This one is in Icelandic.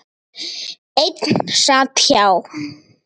Einn sat hjá.